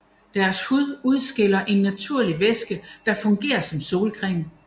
Deres hud udskiller en naturlig væske der fungerer som solcreme